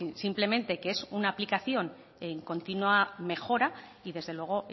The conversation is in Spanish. simplemente que es una aplicación en continua mejora y desde luego